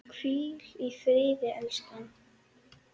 Hvíl í friði, elskan!